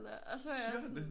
Eller og så var jeg sådan